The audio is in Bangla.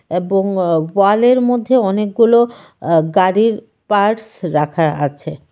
এবং ও-ওয়ালের মধ্যে অনেকগুলো আঃ গাড়ির পার্টস রাখা আছে।